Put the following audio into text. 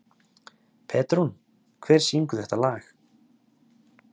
Petrún, hver syngur þetta lag?